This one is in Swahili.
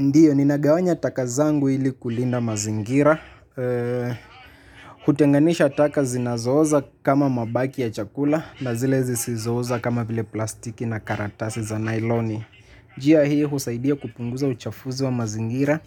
Ndiyo, ninagawanya taka zangu ili kulinda mazingira. Eee. Kutenganisha taka zinazooza kama mabaki ya chakula na zile zisizooza kama vile plastiki na karatasi za nailoni. Njia hii husaidia kupunguza uchafuzi wa mazingira